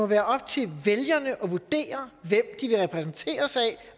være op til vælgerne at vurdere hvem de vil repræsenteres af